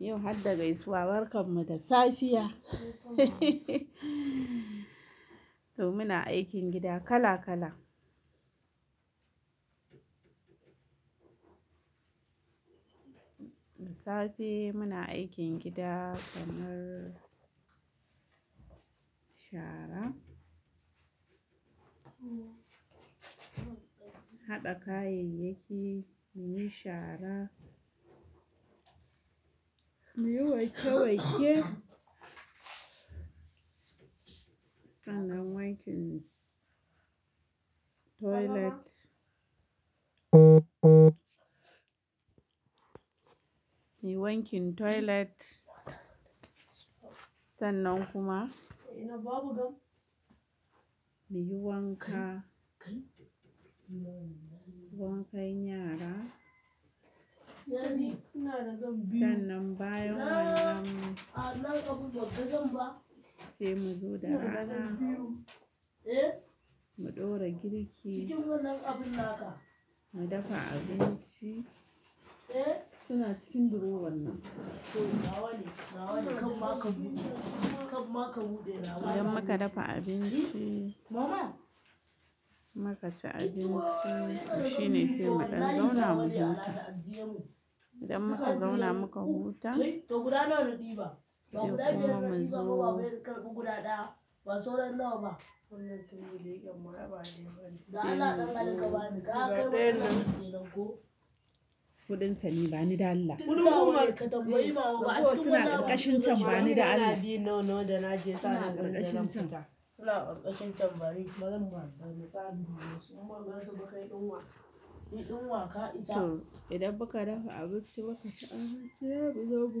Yau har da gaisuwa, barkan mu da safiya. To muna aikin gida kala kala. Da safe muna aikin gida kamar shara, haɗa kayayyaki, muyi shara, muyi wanke wanke, ana wankin toilet. Muyi wankin toilet, sannan kuma muyi wanka, wankan yara. Sannan bayan wannan sai mu zo da rana, mu ɗora girki, mu dafa abinci. Suna cikin drawer nan. Idan muka dafa abinci, muka ci abinci shine sai mu dan zauna mu huta. Idan muka zauna muka huta, sai kuma mu zo. Kuɗin sa ne bani dan Allah. Suna ƙarƙashin can bani dan Allah. Suna ƙarƙashin can. To idan muka dafa abinci muka ci abinci sai muzo mu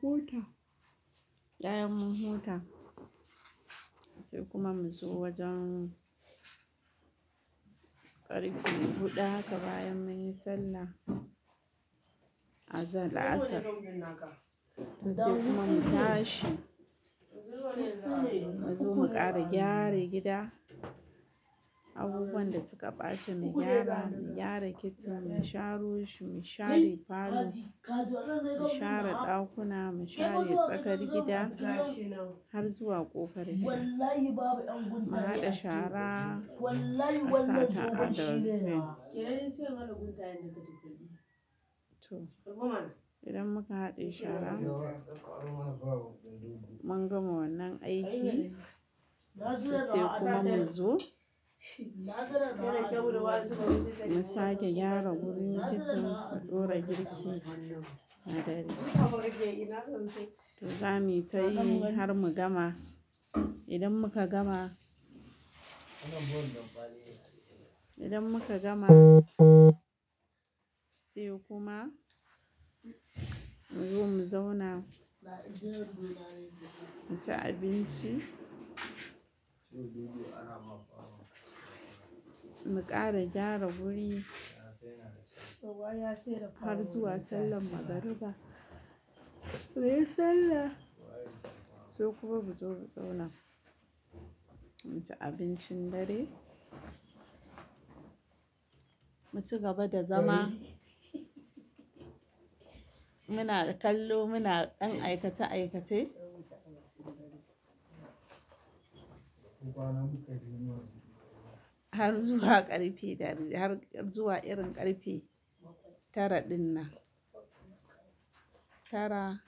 huta, bayan mun huta sai kuma mu zo wajen ƙarfe huɗu haka bayan mun yi sallah azalar la'asar. Sai kuma mu tashi, mu zo mu ƙara gyara gida. Abubuwan da suka ɓace mu gyara, mu gyara kicin, mu sharo shi, mu share parlor, mu share ɗakuna, mu share tsakar gida har zuwa ƙofar gida. Mu haɗa shara a sata a dustbin to idan muka haɗe shara, mun gama wannan aiki sai kuma mu zo. Mu sake gyara wurin kicin, mu ɗora girki na dare. To zamuyi tayi har mu gama. Idan muka gama, idan muka gama sai kuma mu zo mu zauna mu ci abinci. Mu ƙara gyara wuri har zuwa sallar magariba. Muyi sallah sai kuma muzo mu zauna mu ci abincin dare. Mu ci gaba da zama. Muna kallo muna ɗan aikace aikace. Har zuwa ƙarfe dare, har zuwa irin ƙarfe tara dinnan. Tara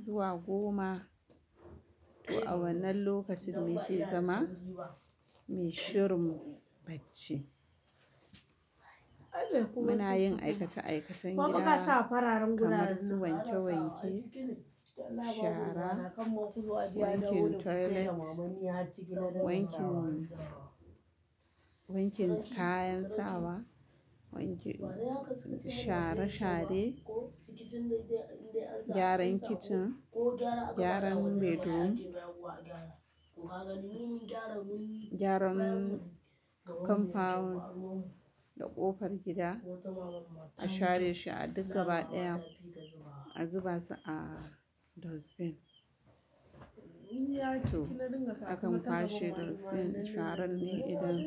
zuwa goma to a wannan lokacin mu ke zama muyi shirin bacci. Muna yin aikace aikacen gida kamar su wanke wanke, shara, wankin toilet, wankin, wankin kayan sawa, wankin shara share, gyaran kicin, gyaran bedroom, gyaran compound da ƙofar gida a share shi a duk gaba ɗaya a zuba su a dustbin. To, a kan kwashe dustbin sharan ne idan.